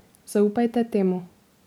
Zaupajte temu.